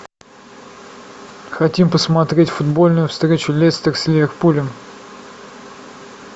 хотим посмотреть футбольную встречу лестер с ливерпулем